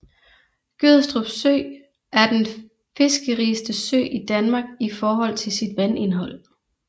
Gødstrup Sø er den fiskerigeste sø i Danmark i forhold til sit vandindhold